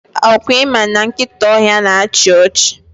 Ọkwa ịma na nkịta ọhịa na achị ọchị?